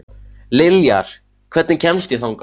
Liljar, hvernig kemst ég þangað?